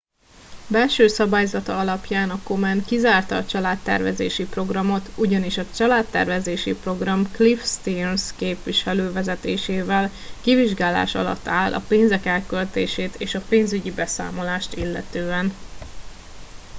belső szabályzata alapján a komen kizárta a családtervezési programot ugyanis a családtervezési program cliff stearns képviselő vezetésével kivizsgálás alatt áll a pénzek elköltését és a pénzügyi beszámolást illetően